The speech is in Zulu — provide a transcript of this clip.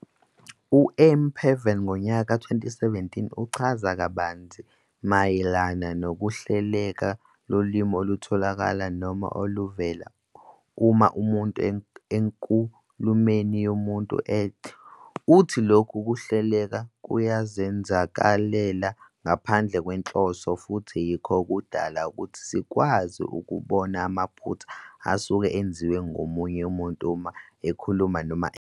U-Emma Pavey, 2017, uchaza kabanzi mayelana nokuhleleka lolimi olutholakala noma oluvela uma umuntu enkulumeni yomuntu, uthi lokhu kuhleleka kuyazenzakalela ngaphandle kwenhloso futhi yikho okudala ukuthi sikwazi ukubona amaphutha asuke enziwa ngomunye umuntu uma ekhuluma noma ebhala.